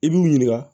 I b'u ɲininka